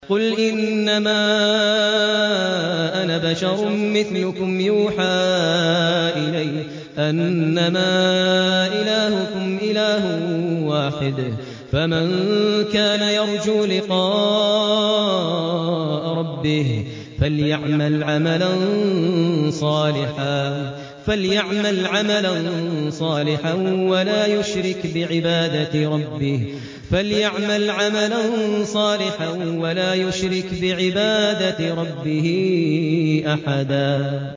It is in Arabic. قُلْ إِنَّمَا أَنَا بَشَرٌ مِّثْلُكُمْ يُوحَىٰ إِلَيَّ أَنَّمَا إِلَٰهُكُمْ إِلَٰهٌ وَاحِدٌ ۖ فَمَن كَانَ يَرْجُو لِقَاءَ رَبِّهِ فَلْيَعْمَلْ عَمَلًا صَالِحًا وَلَا يُشْرِكْ بِعِبَادَةِ رَبِّهِ أَحَدًا